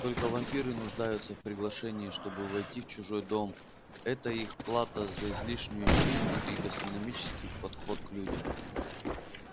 только вампиры нуждаются в приглашении чтобы войти в чужой дом это их плата за излишнюю силу и гастрономический подход к людям